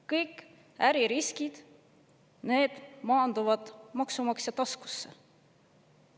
Kõik äririskid maanduvad maksumaksja taskusse.